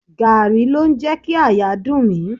Gààrí ló ń jẹ kí àyà dùn mí.